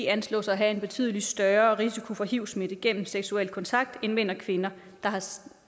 anslås at have en betydelig større risiko for hivsmitte gennem seksuel kontakt end mænd og kvinder der har